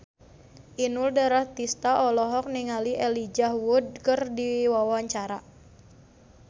Inul Daratista olohok ningali Elijah Wood keur diwawancara